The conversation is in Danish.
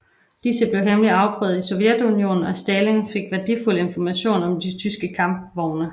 Disse blev hemmeligt afprøvet i Sovjetunionen og Stalin fik værdifuld information om de tyske kampvogne